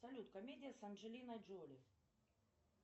салют комедия с анджелиной джоли